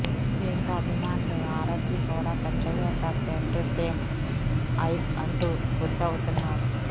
దీంతో అభిమానులు ఆరాధ్య కూడా పెద్దయ్యాక సేమ్ టు సేమ్ ఐష్ అంటూ ఖుషి అవుతున్నారు